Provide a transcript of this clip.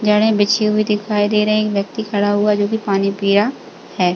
जड़े बिछी हुई दिखाई दे रही एक व्यक्ति खड़ा हुआ जो कि पानी पीया है।